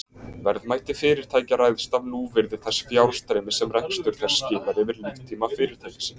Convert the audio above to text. Verðmæti fyrirtækja ræðst af núvirði þess fjárstreymis sem rekstur þess skilar yfir líftíma fyrirtækisins.